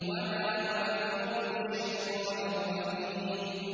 وَمَا هُوَ بِقَوْلِ شَيْطَانٍ رَّجِيمٍ